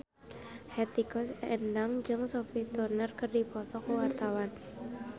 Hetty Koes Endang jeung Sophie Turner keur dipoto ku wartawan